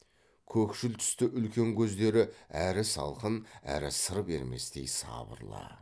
көкшіл түсті үлкен көздері әрі салқын әрі сыр берместей сабырлы